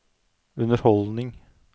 underholdning